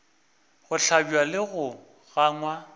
go hlabja le go gangwa